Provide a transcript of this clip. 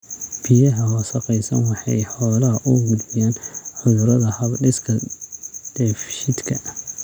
Biyaha wasakhaysan waxa ay xoolaha u gudbiyaan cudurada hab-dhiska dheefshiidka.